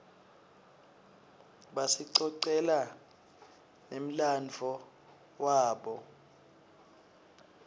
basicocela nemladvo wabo